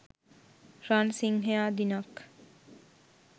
රන් සිංහයා දිනක්